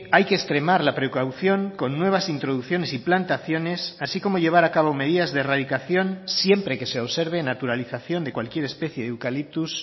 hay que extremar la precaución con nuevas introducciones y plantaciones así como llevar a cabo medidas de erradicación siempre que se observe naturalización de cualquier especie de eucalyptus